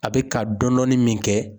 A bi ka dɔɔni dɔɔni min kɛ